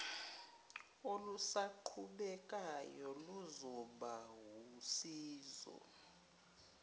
olusaqhubekayo luzoba wusizo